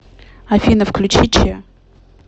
афина включи че